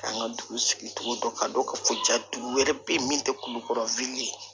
K'an ka dugu sigicogo dɔn k'a dɔn k'a fɔ jatigi wɛrɛ bɛ yen min tɛ kulukɔrɔ ye